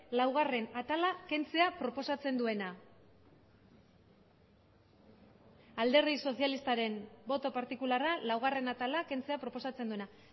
laugarrena atala kentzea proposatzen duena alderdi sozialistaren boto partikularra laugarrena atala kentzea proposatzen duena